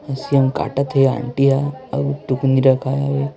SIM काटता है आंटीया और टोकोनी रखा है।